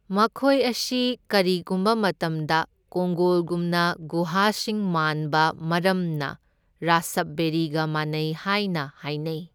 ꯃꯈꯣꯢ ꯑꯁꯤ ꯀꯔꯤꯒꯨꯝꯕ ꯃꯇꯝꯗ ꯀꯣꯡꯒꯣꯜꯒꯨꯝꯕ ꯒꯨꯍꯥꯁꯤꯡ ꯃꯥꯟꯕ ꯃꯔꯝꯅ ꯔꯥꯁꯞꯕꯦꯔꯤꯒ ꯃꯥꯟꯅꯩ ꯍꯥꯢꯅ ꯍꯥꯢꯅꯩ꯫